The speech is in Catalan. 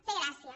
té gràcia